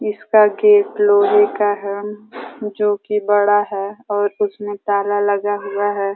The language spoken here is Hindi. इसका गेट लोहे का है जो कि बड़ा है और उसमें ताला लगा हुआ है।